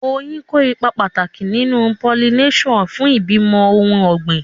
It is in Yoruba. Oyin kó ipa pàtàkì nínú pollination fún ìbímọ ohun ọ̀gbìn.